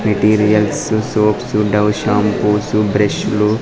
Materials soaps Dove shampoos బ్రష్లు .